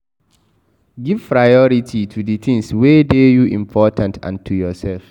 Give priority to di things wey dey you important and to yourself